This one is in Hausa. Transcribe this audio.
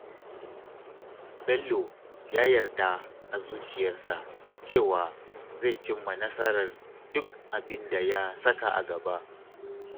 Bello ya yarda a zuciyarsa cewa zai cimma nasarar duk abin da ya saka a gaba